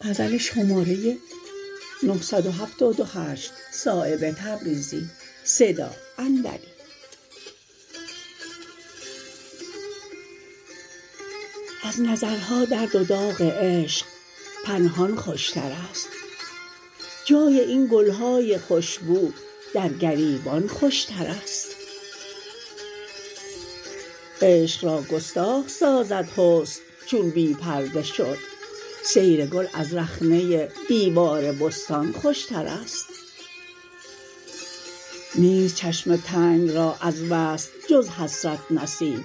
از نظرها درد و داغ عشق پنهان خوشترست جای این گلهای خوشبو در گریبان خوشترست عشق را گستاخ سازد حسن چون بی پرده شد سیر گل از رخنه دیوار بستان خوشترست نیست چشم تنگ را از وصل جز حسرت نصیب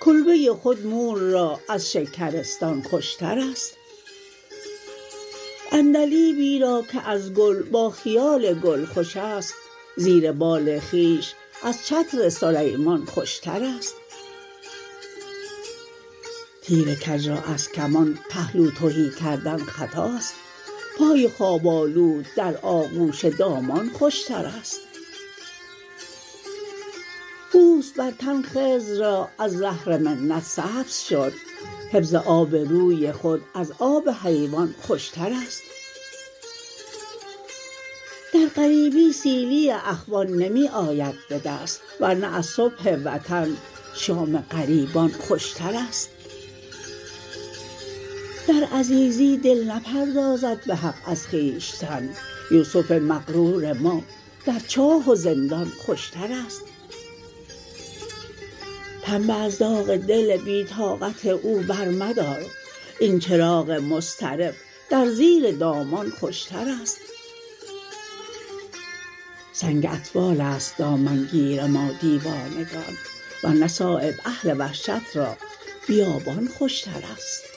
کلبه خود مور را از شکرستان خوشترست عندلیبی را که از گل با خیال گل خوش است زیر بال خویش از چتر سلیمان خوشترست تیر کج را از کمان پهلو تهی کردن خطاست پای خواب آلود در آغوش دامان خوشترست پوست بر تن خضر را از زهر منت سبز شد حفظ آب روی خود از آب حیوان خوشترست در غریبی سیلی اخوان نمی آید به دست ورنه از صبح وطن شام غریبان خوشترست در عزیزی دل نپردازد به حق از خویشتن یوسف مغرور ما در چاه و زندان خوشترست پنبه از داغ دل بی طاقت او برمدار این چراغ مضطرب در زیر دامان خوشترست سنگ اطفال است دامنگیر ما دیوانگان ورنه صایب اهل وحشت را بیابان خوشترست